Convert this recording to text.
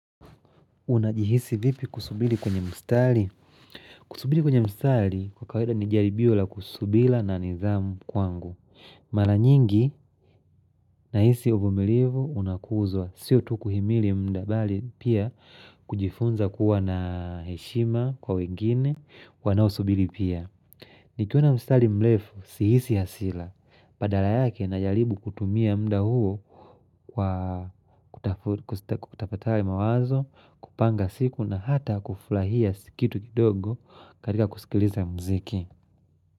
Unajihisi vipi kusubiri kwenye mstari? Kusubiri kwenye mstari kwa kawaida ni jaribio la subira na nidhamu kwangu. Maranyingi ninahisi uvumilivu unakuzwa. Sio tu kuhimili muda bali pia kujifunza kuwa na heshima kwa wengine wanao subiri pia. Nikiona mstari mrefu si hisi hasira. Badala yake na jaribu kutumia mda huo kwa kutafakari mawazo, kupanga siku na hata kufurahia kitu kidogo katika kusikiliza muziki.